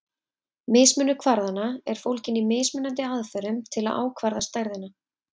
Mismunur kvarðanna er fólginn í mismunandi aðferðum til að ákvarða stærðina.